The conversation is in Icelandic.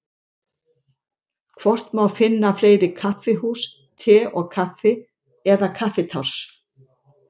Hvort má finna fleiri kaffihús Te og Kaffi eða Kaffitárs?